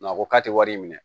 a ko k'a tɛ wari minɛ